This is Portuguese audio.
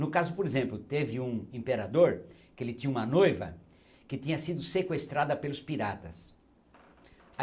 No caso, por exemplo, teve um imperador que ele tinha uma noiva que tinha sido sequestrada pelos piratas.